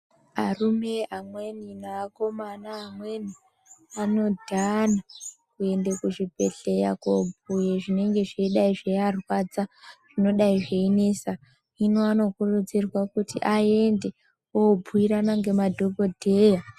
Arume amweni neakomana amweni anodhana kuende kuzvibhehleya kobhuye zvinenge zveidai zveiarwadza zvinodai zveinesa hino anokurudzirwa kuti aende obhuyirana ngemadhokodheya.